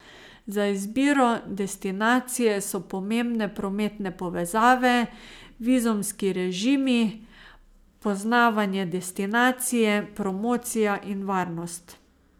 Za izbiro destinacije so pomembne prometne povezave, vizumski režimi, poznavanje destinacije, promocija in varnost.